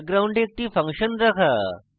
background একটি function রাখা